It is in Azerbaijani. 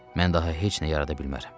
Mən daha heç nə yarada bilmərəm.